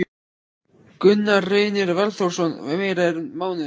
Gunnar Reynir Valþórsson: Meira en mánuður?